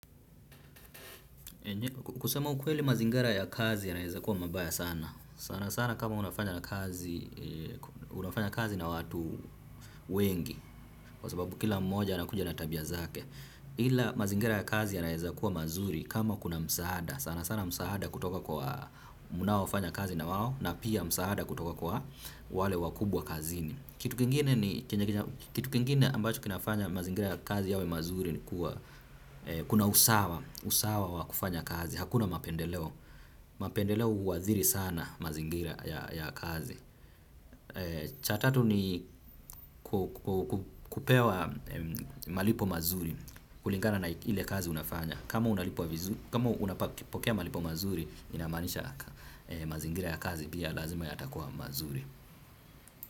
Kusema ukweli mazingara ya kazi yanaeza kuwa mabaya sana sana sana kama unafanya kazi na watu wengi. Kwa sababu kila mmoja anakuja na tabia zake. Ila mazingara ya kazi yanaeza kuwa mazuri kama kuna msaada sana sana msaada kutoka kwa munaofanya kazi na wao na pia msaada kutoka kwa wale wakubwa kazini. Kitu kingine ambacho kinafanya mazingira ya kazi yawe mazuri kuna usawa wa kufanya kazi, hakuna mapendeleo mapendeleo huadhiri sana mazingira ya kazi cha tatu ni kupewa malipo mazuri kulingana na ile kazi unafanya kama unapokea malipo mazuri inamaanisha mazingira ya kazi pia lazima yatakua mazuri.